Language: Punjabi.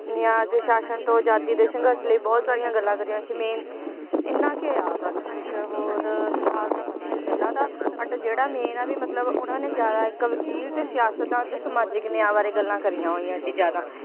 ਨਿਆਂ ਦੇ ਸ਼ਾਸ਼ਨ ਤੋਂ ਅਜਾਦੀ ਦੇ ਸੰਘਰਸ਼ ਲਈ ਬਹੁਤ ਸਾਰੀਆਂ ਗੱਲਾਂ ਕਰੀਆਂ ਸੀ main ਇੰਨਾ ਕੁ ਆ ਬਾਕੀ ਕੁਛ ਹੋਰ ਫਿਲਹਾਲ ਤਾਂ ਪਤਾਨੀ ਗੱਲਾਂ ਤਾਂ ਜਿਹੜਾ main ਆ ਵੀ ਮਤਲਬ ਉਹਨਾਂ ਨੇ ਜ਼ਿਆਦਾ ਇਕ ਵਕੀਲ ਤੇ ਸਿਆਸਤਦਾਨ, ਤੇ ਸਮਾਜਿਕ ਨਿਆਂ ਬਾਰੇ ਗੱਲਾਂ ਕਰੀਆਂ ਹੋਈਆਂ ਸੀ ਜ਼ਿਆਦਾ